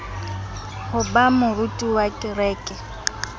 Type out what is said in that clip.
ho ba moruti wa kereke